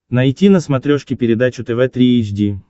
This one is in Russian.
найти на смотрешке передачу тв три эйч ди